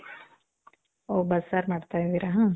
ಓ, ಬಸ್ಸಾರ್ ಮಾಡ್ತಾ ಇದೀರಾ?